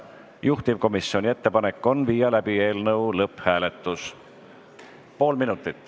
Juhtivkomisjoni ettepanek on viia läbi eelnõu lõpphääletus.